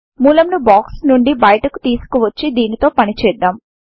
మూలమును box నుండి బయటికి తీసుకొచ్చి దీనితో పని చేద్దాం